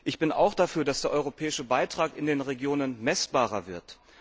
Ich bin auch dafür, dass der europäische Beitrag in den Regionen messbarer wird.